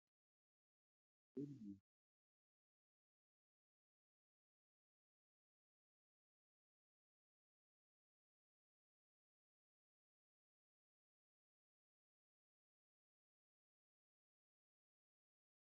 Buddeen leemmaxii irra diriiree jiru irratti ittoowwan gosa adda addaa ba'anii jiru. Ittoowwan buddeen irratti ba'anii jiran keessaa ittoo diimaa, ittoo dinnichaa fi muraa timaatimii faadha. Fuuldura kanatti waaddiin foonii galii irratti qophaa'eera.